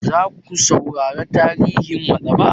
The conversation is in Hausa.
Za ku saurara tarihin maɗaba'a?